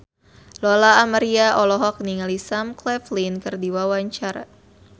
Lola Amaria olohok ningali Sam Claflin keur diwawancara